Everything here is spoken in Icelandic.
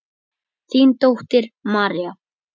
Þín dóttir, María.